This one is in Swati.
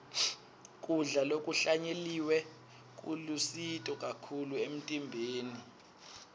kudla lokuhlanyeliwe kulusito kakhulu emtimbeni